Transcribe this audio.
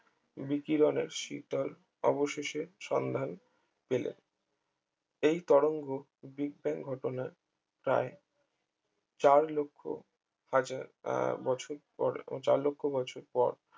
বিকিরণের শীতল অবশেষে সন্ধান পেলে এই তরঙ্গ বিগ ব্যাং ঘটনার প্রায় চার লক্ষ হাজার আহ বছর পরে উম চার লক্ষ বছর পর